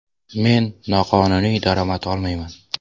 Men noqonuniy daromad olmayman.